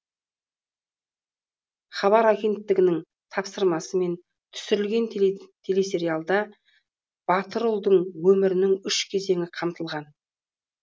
хабар агенттігінің тапсырмасымен түсірілген телесериалда батыр ұлдың өмірінің үш кезеңі қамтылған